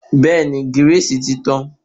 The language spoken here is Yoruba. Bẹ́ẹ̀ni gírìsì ti tàn